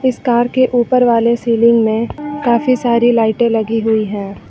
इस कार के ऊपर वाले सीलिंग में काफी सारी लाइटे लगी हुई हैं।